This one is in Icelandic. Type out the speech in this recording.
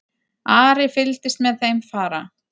Ari fylgdist með þeim fara.